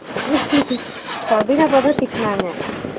பாவிக்கா தான் திட்டுனாங்க